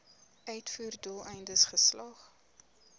uitvoer doeleindes geslag